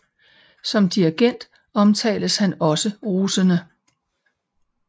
Som dirigent omtales han også rosende